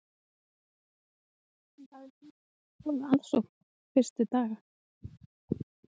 Magnús: Þið hafið fengið mjög góða aðsókn þessa fyrstu daga?